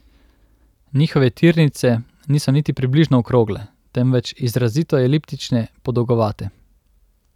Njihove tirnice niso niti približno okrogle, temveč izrazito eliptične, podolgovate.